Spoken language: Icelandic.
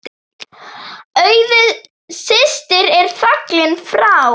Auður systir er fallin frá.